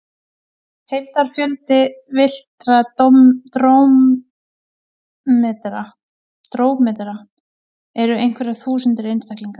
Heildarfjöldi villtra drómedara eru einhverjar þúsundir einstaklinga.